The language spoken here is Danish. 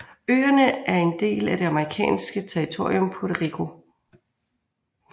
Øerne er en del af det amerikanske territorium Puerto Rico